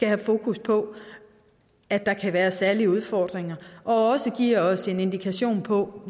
have fokus på at der kan være særlige udfordringer og det giver os også en indikation på